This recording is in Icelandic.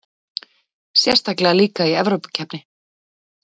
Sérstaklega líka í Evrópukeppninni.